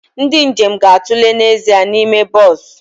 Ndị njem ga-atụle n'ezie n'ime bọs